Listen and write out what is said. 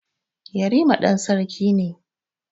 Yarima ɗan sarki ne.